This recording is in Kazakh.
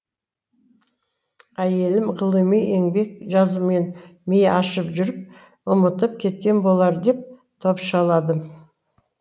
әйелім ғылыми еңбек жазумен миы ашып жүріп ұмытып кеткен болар деп топшаладым